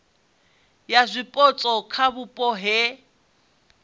ya zwipotso kha vhupo he